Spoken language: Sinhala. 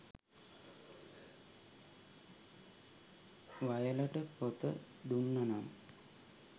වයලට පොත දුන්න නම්